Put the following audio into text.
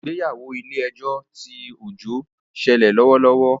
Ìgbéyàwó ilè ejó tí Ojo ń sele lówó lówó